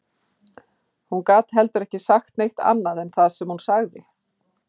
Hún gat heldur ekki sagt neitt annað en það sem hún sagði